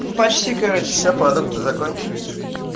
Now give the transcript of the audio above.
ну почти короче все продукты закончились